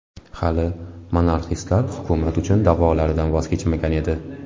Hali monarxistlar hukumat uchun da’volaridan voz kechmagan edi.